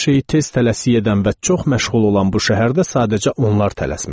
Hər şeyi tez tələsik edən və çox məşğul olan bu şəhərdə sadəcə onlar tələsmirdilər.